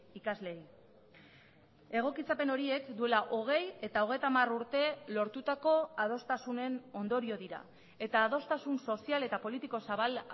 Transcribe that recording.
ikasleei egokitzapen horiek duela hogei eta hogeita hamar urte lortutako adostasunen ondorio dira eta adostasun sozial eta politiko zabal